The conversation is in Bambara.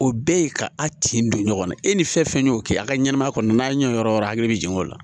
O bɛɛ ye ka a tin don ɲɔgɔnna e ni fɛn fɛn y'o kɛ a ka ɲɛnɛmaya kɔnɔ n'a ɲɛ yɔrɔ yɔrɔ hakili bɛ jigin o la